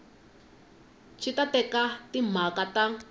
swi ta eka timhaka ta